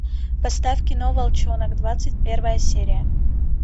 поставь кино волчонок двадцать первая серия